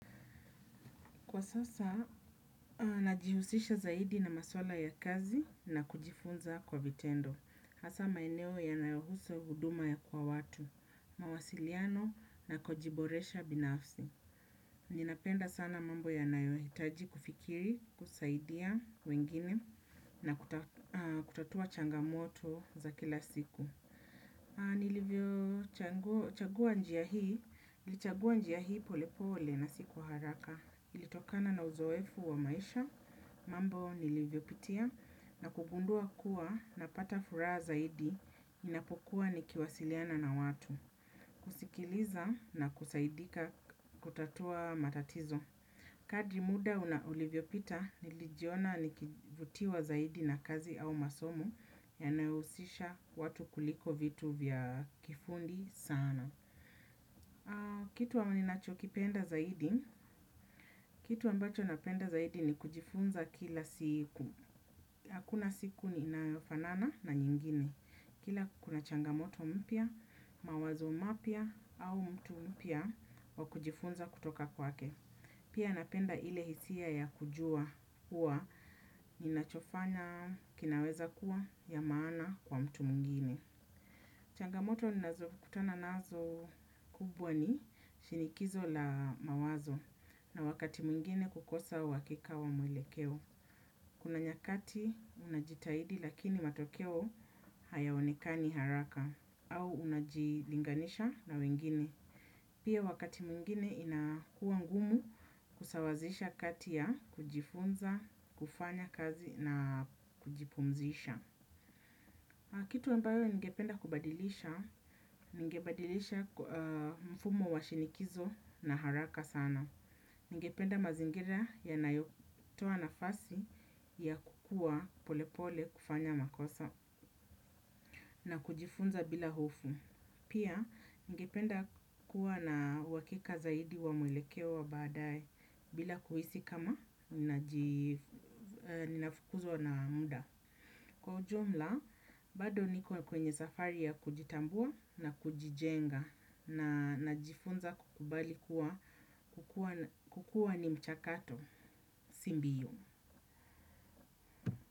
Kwa sasa, najihusisha zaidi na maswala ya kazi na kujifunza kwa vitendo. Hasa maeneo yanayohusu huduma kwa watu, mawasiliano na kujiboresha binafsi. Ninapenda sana mambo yanayohitaji kufikiri, kusaidia wengine na kutatua changamoto za kila siku. Nilivyo chagua njia hii, nilichagua njia hii pole pole na si kwa haraka. Ilitokana na uzoefu wa maisha, mambo nilivyo pitia na kugundua kuwa napata furaha zaidi ninapokuwa nikiwasiliana na watu. Kusikiliza na kusaidika kutatua matatizo. Kadri muda ulivyo pita nilijiona nikivutiwa zaidi na kazi au masomo yanayohusisha watu kuliko vitu vya kifundi sana. Kitu wa ninachokipenda zaidi, kitu ambacho napenda zaidi ni kujifunza kila siku. Hakuna siku inayofanana na nyingine. Kila kuna changamoto mpya, mawazo mapya au mtu mpya wa kujifunza kutoka kwake. Pia napenda ile hisia ya kujua hua ninachofanya kinaweza kuwa ya maana kwa mtu mwngine. Changamoto ninazo kutana nazo kubwa ni shinikizo la mawazo na wakati mwingine kukosa uhakika wa mwelekeo. Kuna nyakati unajitahidi lakini matokeo hayaonekani haraka au unajilinganisha na wengine. Pia wakati mwingine inakua ngumu kusawazisha kati ya, kujifunza, kufanya kazi na kujipumzisha. Kitu ambayo ningependa kubadilisha, ningebadilisha mfumo wa shinikizo na haraka sana. Ningependa mazingira yanayotoa nafasi ya kukua polepole, kufanya makosa na kujifunza bila hofu. Pia, ningependa kuwa na uhakika zaidi wa mwelekeo wa baadae bila kuhisi kama ninafukuzwa na muda. Kwa ujumla, bado niko kwenye safari ya kujitambua na kujijenga najifunza kukubali kuwa kukua ni mchakato si mbio.